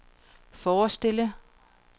forestille